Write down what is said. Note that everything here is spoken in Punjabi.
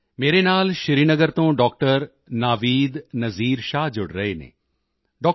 ਮੇਰੇ ਨਾਲ ਸ਼੍ਰੀਨਗਰ ਤੋਂ ਡਾਕਟਰ ਨਾਵੀਦ ਨਜੀਰ ਸ਼ਾਹ ਜੁੜ ਰਹੇ ਹਨ ਡਾ